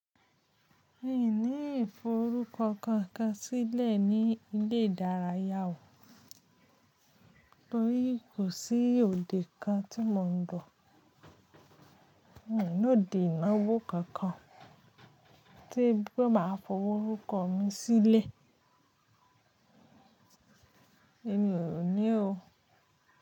Mi ò ní iforúkọ kankan sílẹ̀ ní ilé ìdárayá o, torí kò sí òde kan tí mò ń lo. Mi o ni òde ìnáwó kankan tí bí mo máa fọ orúkọ mi sílẹ̀. Èmi ò ní o.